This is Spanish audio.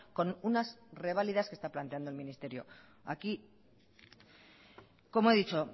con unas revalidas que está planteando el ministerio aquí como he dicho